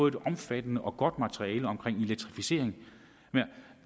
et omfattende og godt materiale om elektrificering